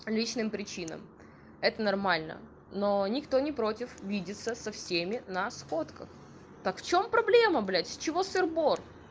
личным причинам это нормально но никто не против видеться со всеми на сходках так в чём проблема блядь с чего сыр-бор